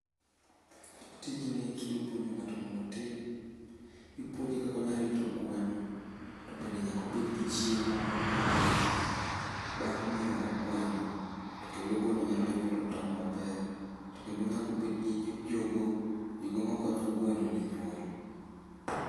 Tijni kidwa puonjo ng'ato mondo otim. Ipuonje kaka onya rito gweno to bende nyaka obed gi chiemo momiyo gweno. Bang' miyo gweno to kendo gweno nyalo nyuolo tong' maber. To kendo nyaka obed gi nyi jogoo. Jogoo makonyo gwenoni nyuol.